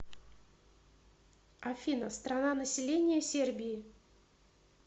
афина страна население сербии